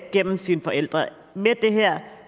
gennem sine forældre med det her